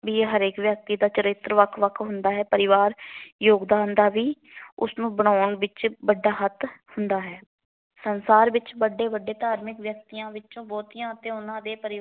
ਹਰੇਕ ਵਿਅਕਤੀ ਦਾ ਚਰਿੱਤਰ ਵੱਖ ਵੱਖ ਹੁੰਦਾ ਹੈ। ਪਰਿਵਾਰ ਯੋਗਦਾਨ ਦਾ ਵੀ ਉਸ ਨੂੰ ਬਣਾਉਣ ਵਿੱਚ ਵੱਡਾ ਹੱਥ ਹੁੰਦਾ ਹੈ।